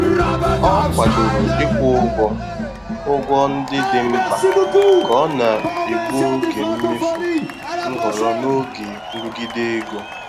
Ọ kwadoro ịkwụ ụgwọ ụgwọ ndị dị mkpa ka ọ na-egbu oge mmefu nhọrọ n'oge nrụgide ego.